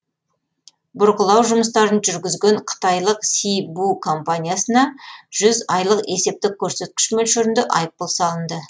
бұрғылау жұмыстарын жүргізген қытайлық си бу компаниясына жүз айлық есептік көрсеткіш мөлшерінде айыппұл салынды